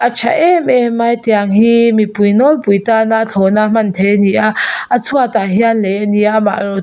a tha em em a tiang hi mipui nawlpui tana thlawna hman theih a ni a a chhuatah hian lei a ni a amaherawh--